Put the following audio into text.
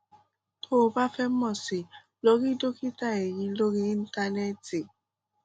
tó o bá fẹ mọ sí i lọ rí dókítà eyín lórí íńtánẹẹtì